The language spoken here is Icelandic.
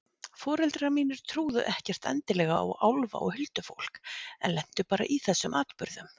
Foreldrar mínir trúðu ekkert endilega á álfa og huldufólk en lentu bara í þessum atburðum.